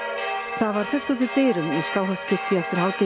það var fullt út úr dyrum í Skáholtskirkju eftir hádegi í